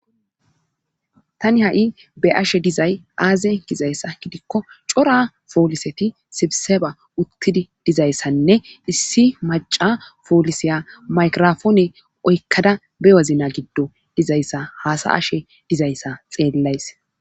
tani ha7i be'ashe dizay aaze gizayssa gidikko cora pooliseti sibiseba uttidi dizayssanne issi maca pooliseya maykrofoone oykkada be wazna giddo dizayssa haasa ashe dizayssa xeellays